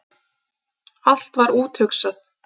Allt var úthugsað.